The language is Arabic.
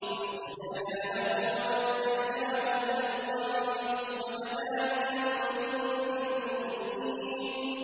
فَاسْتَجَبْنَا لَهُ وَنَجَّيْنَاهُ مِنَ الْغَمِّ ۚ وَكَذَٰلِكَ نُنجِي الْمُؤْمِنِينَ